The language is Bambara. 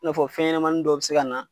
Na fɔ fɛn ɲɛnɛmanin dɔ be se ka na